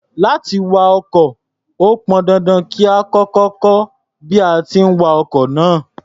Láti wa ọkọ̀, ó pọn dandan kí a kọ́kọ́ kọ́ bí a ti ń wa ọkọ̀ náà.